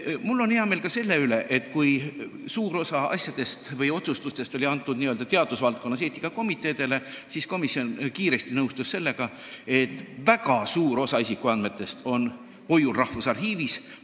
Mul on hea meel ka selle üle, et kuna suur osa otsustustest on teadusvaldkonnas eetikakomiteede teha, siis komisjon nõustus kiiresti sellega, et väga suur osa isikuandmetest on hoiul Rahvusarhiivis.